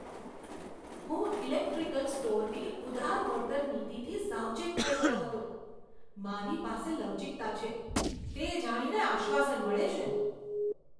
હું ઇલેક્ટ્રિકલ સ્ટોરની ઉદાર વળતર નીતિથી સાવચેત થઈ ગયો હતો, મારી પાસે લવચીકતા છે, તે જાણીને આશ્વાસન મળે છે.